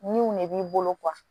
Niw ne b'i bolo